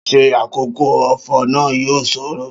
Ṣé àkókò ọ̀fọ̀ náà yóò ṣòro?